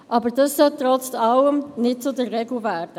Aber das sollte trotz allem nicht zur Regel werden.